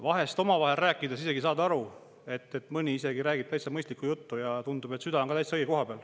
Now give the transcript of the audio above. Vahest omavahel rääkides saan aru, et mõni isegi räägib täitsa mõistliku juttu, ja tundub, et süda on ka täitsa õige koha peal.